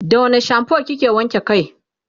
da wani shampoo kike wanke kai?